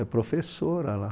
É professora lá.